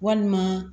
Walima